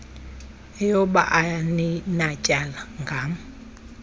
eyoba aninatyala ngam